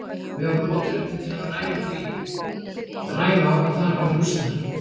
Við vorum of drukknir til að hafa rænu á að þar var njósnari.